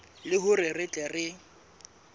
le hore re tle re